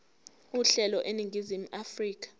uhlelo eningizimu afrika